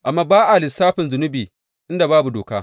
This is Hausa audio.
Amma ba a lissafin zunubi inda babu doka.